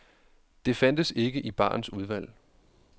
Det fandtes ikke i barens udvalg.